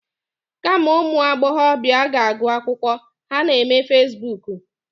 Kama ụmụ agbọbịa ga-agụ akwụkwọ, ha na-eme fasibuuku.